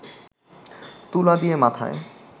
তুলা দিয়ে মাথায়